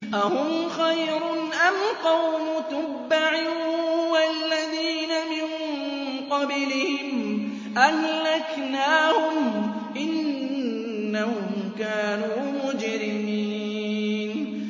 أَهُمْ خَيْرٌ أَمْ قَوْمُ تُبَّعٍ وَالَّذِينَ مِن قَبْلِهِمْ ۚ أَهْلَكْنَاهُمْ ۖ إِنَّهُمْ كَانُوا مُجْرِمِينَ